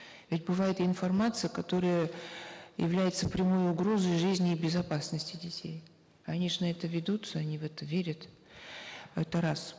ведь бывает информация которая является прямой угрозой жизни и безопасности детей они же на это ведутся они в это верят это раз